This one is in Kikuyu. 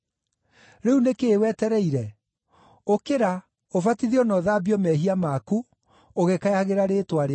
Rĩu nĩ kĩĩ wetereire? Ũkĩra, ũbatithio na ũthambio mehia maku, ũgĩkayagĩra rĩĩtwa rĩake.’